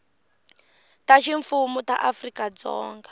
ta ximfumu ta afrika dzonga